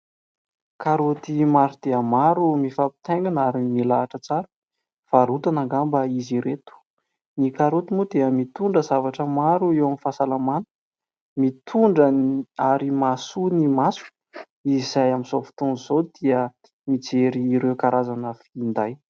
Karoty maro dia maro mifampitaingina ary milahatra tsara, varotana angamba izy ireto. Ny karoty moa dia mitondra zavatra maro eo amin'ny fahasalamana, mitondra ary mahasoa ny maso, izay amin'izao fotoana izao dia mijery ireo karazana finday.